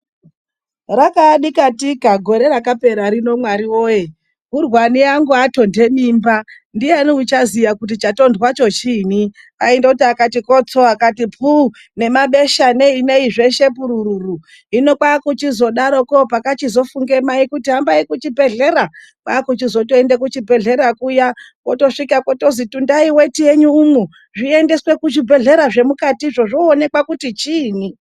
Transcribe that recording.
Rakaa dikatika gore rakapera rino Mwari woye. Urwani angu atonhe mimba, ndiani uchaziya kuti chatondwa choo chiinyi aindoti akati kotso, akati puu, nemabesha neyi neyi zveshe kurururu. Hino kwakuchizodarokwo pakachizofunge mai kuti hambai kuchibhedhlera , kwakuchizoende kuchibhedhlera kuya, kwotosvika kwotozi tundai weti yenyu umwu zviendeswe kuzvibhedhlera zvemukati zvoonekwa kuti chiinyi